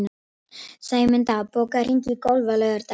Sæmunda, bókaðu hring í golf á laugardaginn.